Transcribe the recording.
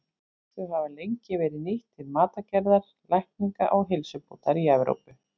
Þau hafa lengi verið nýtt til matargerðar, lækninga og heilsubótar í Evrópu.